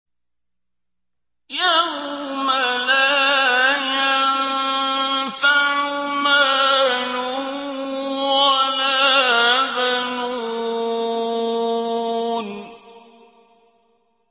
يَوْمَ لَا يَنفَعُ مَالٌ وَلَا بَنُونَ